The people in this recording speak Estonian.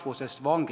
Head kolleegid!